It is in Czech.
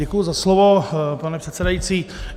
Děkuji za slovo, pane předsedající.